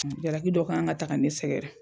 jalaki dɔ kan ŋa ta ka ne sɛgɛrɛ.